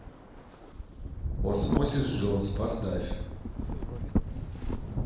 осмосис джонс поставь